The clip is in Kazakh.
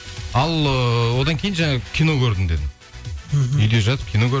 ал ыыы одан кейін жаңа кино көрдім дедің мхм үйде жатып кино